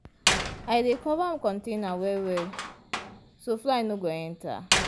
i dey cover container well well so fly no go enter.